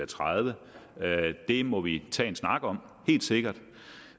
tredivete det må vi tage en snak om helt sikkert